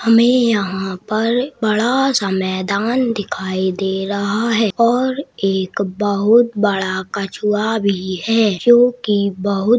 हमे यहाँ पर बड़ा-सा मैदान दिखाई दे रहा है और एक बहुत बड़ा कछुआ भी है जो की बहुत --